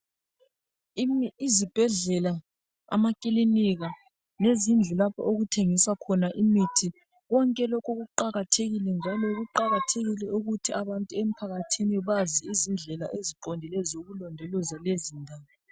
Izibhedlela, amakilinika, lezindlu lapho okuthengiswa khona imithi konke lokhu kuqakathekile njalo kuqakathekile ukuthi abantu emphakathini bazi izindlela eziqondileyo zokulondoloza lezindawo.